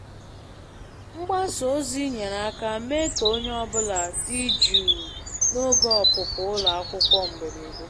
Mgbasa ozi nyere aka mee ka onye ọ bụla dị jụụ n'oge ọpụpụ ụlọ akwụkwọ mberede.